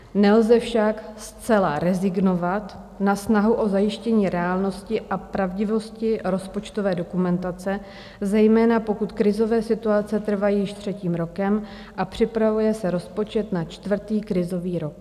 Nelze však zcela rezignovat na snahu o zajištění reálnosti a pravdivosti rozpočtové dokumentace, zejména pokud krizové situace trvají již třetím rokem a připravuje se rozpočet na čtvrtý krizový rok.